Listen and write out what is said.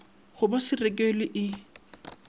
go ba se rekilw e